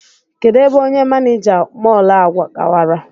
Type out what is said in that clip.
Kedụ ebe onye manịja mọl a gawara?